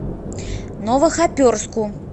новохоперску